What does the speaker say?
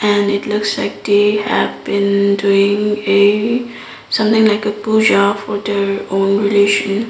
and it looks like day happen doing a something like a pooja for the all relation.